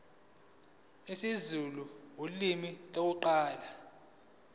isizulu ulimi lokuqala